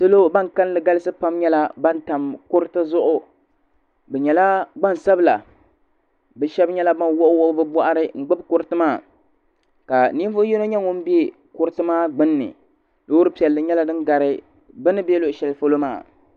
Salo ban kalli galisi pam nyɛla ban tam kuriti zuɣu bɛ nyɛla gbansabla bɛ sheba nyɛla ban wuɣi wuɣi bɛ boɣari n gbibi kuriti maa ka ninvuɣu yino nyɛ ŋun be kuriti maa gbinni loori piɛlli nyɛla ŋun gari bɛ ni be loɣu sheli polo maa.